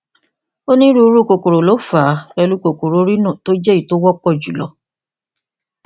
onírúurú kòkòrò ló fà á pẹlú kòkòrò rhino tó jẹ èyí tó wọpọ jùlọ